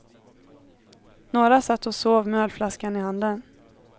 Några satt och sov med ölflaskan i handen.